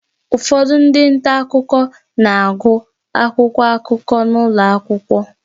Ụfọdụ ndị nta akụkọ na-agụ akwụkwọ akụkọ n'ụlọ akwụkwọ